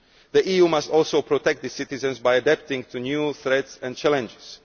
The EU must also protect its citizens by adapting to new threats and challenges.